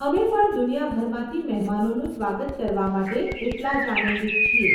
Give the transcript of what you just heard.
અમે પણ દુનિયાભરમાંથી મહેમાનોનું સ્વાગત કરવા માટે એટલાં જ આનંદિત છીએ.